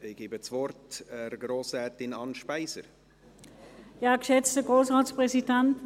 Ich erteile Grossrätin Anne Speiser das Wort.